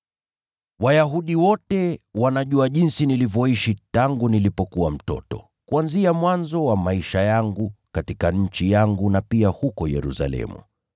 “Wayahudi wote wanajua jinsi nilivyoishi tangu nilipokuwa mtoto, kuanzia mwanzo wa maisha yangu katika nchi yangu na pia huko Yerusalemu.